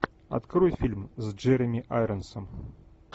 открой фильм с джереми айронсом